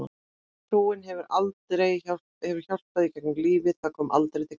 Trúin hefur hjálpað í gegnum lífið Það kom aldrei til greina.